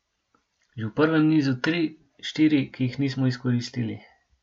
Že v prvem nizu tri, štiri, ki jih nismo izkoristili.